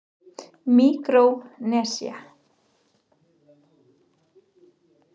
Míkrónesía